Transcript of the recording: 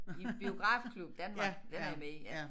I Biografklub Danmark den er jeg med i